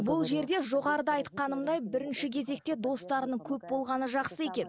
бұл жерде жоғарыда айтқанымдай бірінші кезекте достарының көп болғаны жақсы екен